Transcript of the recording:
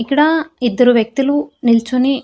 ఇక్కడా ఇద్దరు వ్యక్తులు నిల్చుని.